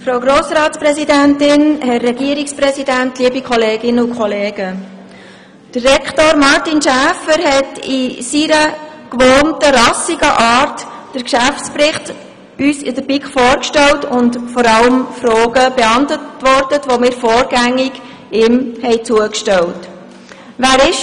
Kommissionssprecherin der BiK.Der Rektor, Herr Martin Schäfer, hat uns in der BiK in seiner gewohnt «rassigen» Art den Geschäftsbericht vorgestellt und uns vor allem auch unsere Fragen beantwortet, die wir ihm vorgängig zugestellt hatten.